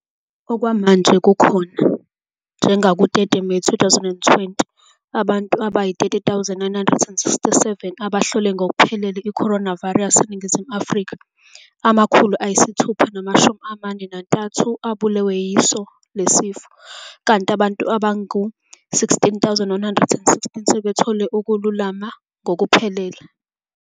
Okwamanje kukhona, njengaku-30 Meyi 2020, abantu abayi-30 967 abahlole ngokuphelele i-coronavirus eNingizimu Afrika. Amakhulu ayisithupha namashumi amane nantathu abulewe yilesi sifo, kanti abantu abangama-16 116 sebethole ukwelulama ngokuphelele.